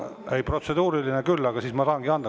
Ei, protseduuriline küll, selle ma tahangi anda.